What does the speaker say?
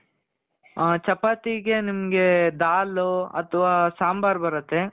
ಆ ಚಪಾತಿ ಗೆ ನಿಮ್ಗೆ ದಾಲು ಅತವ ಸಾಂಬಾರ್ ಬರುತ್ತೆ.